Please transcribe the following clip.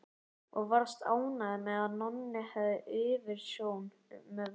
Og varst ánægð með að Nonni hefði yfirumsjón með verkinu.